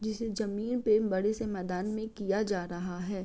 जिसे जमीन पे बड़े से मैदान में किया जा रहा है।